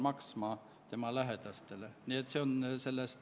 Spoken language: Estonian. Saame minna lõpphääletuse juurde.